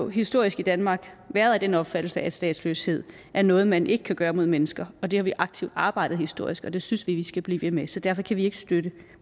historisk i danmark været af den opfattelse at statsløshed er noget man ikke kan gøre mod mennesker og det har vi aktivt arbejdet for historisk og det synes vi vi skal blive ved med så derfor kan vi ikke støtte